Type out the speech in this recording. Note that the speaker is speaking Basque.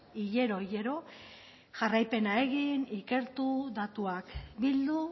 hilero hilero jarraipena egin ikertu datuak bildu